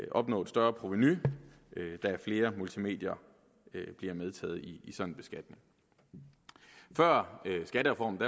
opnå et større provenu da flere multimedier bliver medtaget i en sådan beskatning før skattereformen